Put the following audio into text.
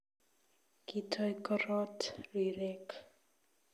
Kitoy korot rirek